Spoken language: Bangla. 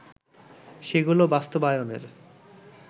সেগুলো বাস্তবায়নের